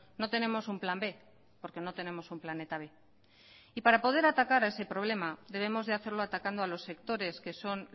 no tenemos un plan b porque no tenemos un planeta b y para poder atacar a ese problema debemos de hacerlo atacando a los sectores que son